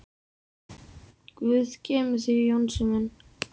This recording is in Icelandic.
Guð geymi þig Jónsi minn.